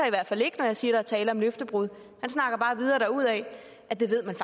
i hvert fald ikke når jeg siger er tale om løftebrud han snakker bare videre derudaf at det ved man